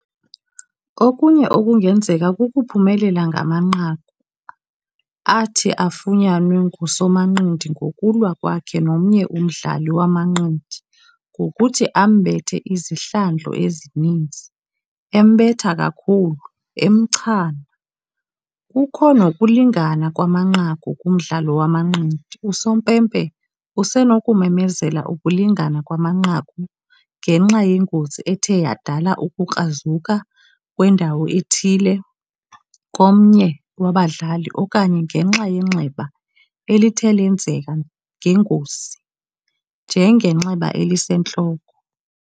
Okunye okungenzeka kukuphumelela ngamanqaku, athi afunyanwe ngusomanqindi ngokulwa kwakhe nomnye umdlali wamanqindi ngokuthi ambethe izihlandlo ezininzi, embetha kakhulu, emchana. Kukho nokulingana kwamanqaku kumdlalo wamanqindi. Usompempe usenokumemezela ukulingana kwamanqaku ngenxa yengozi ethe yadala ukukrazuka kwendawo ethile komnye wabadlali okanye ngenxa yenxeba elithe lenzeka ngengozi, njengenxeba elisentloko.